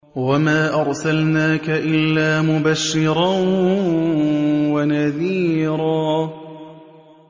وَمَا أَرْسَلْنَاكَ إِلَّا مُبَشِّرًا وَنَذِيرًا